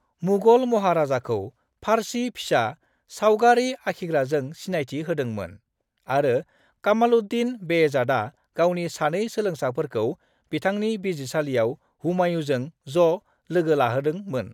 मुगल महाराजाखौ फ़ारसी फिसा सावगारि आखिग्राजों सिनायथि होदों मोन, आरो कमालुद्दीन बेहज़ादआ गावनि सानै सोलोंसाफोरखौ बिथांनि बिजिरसालियाव हुमायूँजों ज' लोगोलाहोदों मोन।